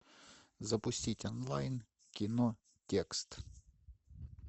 запустить онлайн кино текст